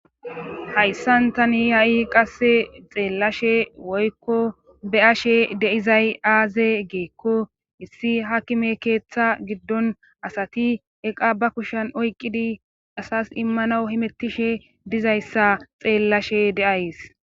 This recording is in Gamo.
Hayssan tani ha'i qasse xeellashe woykko be ashe deizay aaze geekko issi hakime keeththa giddon asati eqa ba kushan oyqqidi asas immana himettishe dizayssa xeellashe de'ays.